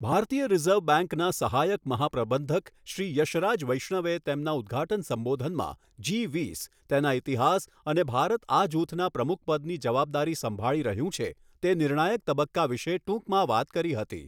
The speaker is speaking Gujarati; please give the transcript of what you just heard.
ભારતીય રિઝર્વ બેંકના સહાયક મહાપ્રબંધક શ્રી યશરાજ વૈષ્ણવે તેમના ઉદઘાટન સંબોધનમાં જી વીસ, તેના ઇતિહાસ અને ભારત આ જૂથના પ્રમુખપદની જવાબદારી સંભાળી રહ્યું છે તે નિર્ણાયક તબક્કા વિશે ટૂંકમાં વાત કરી હતી.